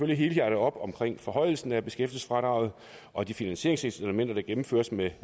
helhjertet op om forhøjelsen af beskæftigelsesfradraget og de finansieringselementer der gennemføres med